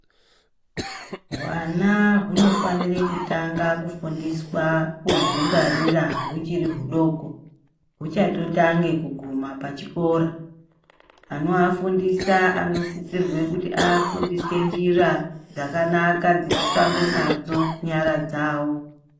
Hwana hunofanire kutanga kufundiswa kudzingwarira huchiri hudoko, huchatotange kuguma pachikora. Anoafundisa anosisirwe kuti aafundise njira dzakanaka dzekushambe nadzo nyara dzavo.